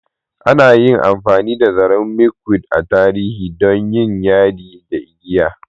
Ana yi amfani da zaren Milkweed a tarihi don yin yadi da igiya.